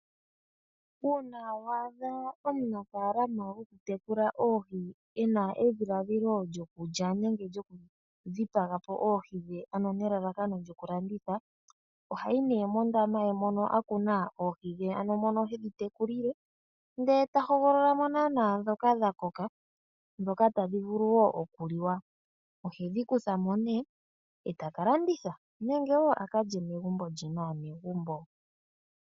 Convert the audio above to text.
Uuna wa adha omunafaalama gokutekula oohi e na edhiladhilo lyokulya nenge lyokudhipaga po oohi ano nelalakano lyokulanditha, ohayi nduno mondaama ye mono a kuna oohi dhe ano mono hedhi tekulile ndele ta hogolola mo naana ndhoka dha koka, ndhoka tadhi vulu wo okuliwa. Ohedhi kutha mo nee e taka landitha nenge wo a ka lye megumbo lye naanegumbo.